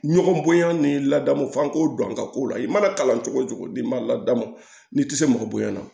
Ɲɔgɔn bonya ni ladamu f'an k'o don an ka ko la i mana kalan cogo o cogo n'i ma ladamu ni tɛ se mɔgɔ bonyana